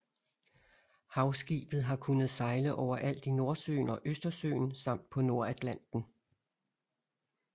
Havskibet har kunnet sejle overalt i Nordsøen og Østersøen samt på Nordatlanten